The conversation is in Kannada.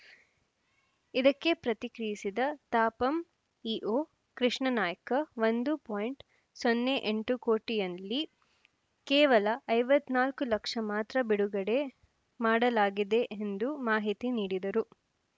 ಇದಕ್ಕೆ ಪ್ರತಿಕ್ರಿಯಿಸಿದ ತಾಪಂ ಇಒ ಕೃಷ್ಣಾನಾಯ್ಕ ಒಂದು ಪಾಯಿಂಟ್ ಸೊನ್ನೆ ಎಂಟು ಕೋಟಿಯಲ್ಲಿ ಕೇವಲ ಐವತ್ತ್ ನಾಲ್ಕು ಲಕ್ಷ ಮಾತ್ರ ಬಿಡುಗಡೆ ಮಾಡಲಾಗಿದೆ ಎಂದು ಮಾಹಿತಿ ನೀಡಿದರು